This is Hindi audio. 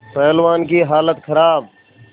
पहलवान की हालत खराब